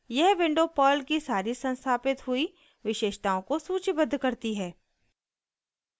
यह window Perl की सारी संस्थापित हुई विशेषताओं को सूचीबद्ध करती है